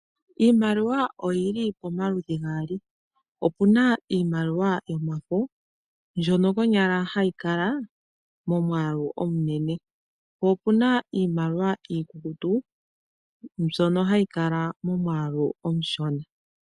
Iimaliwa oyili pomaludhi gaali, opu na iimaliwa yomafo mbyono konyala hayi kala momwaalu omunene, po opu na iimaliwa iikukutu mbyono hayi kala momwaalu omushona.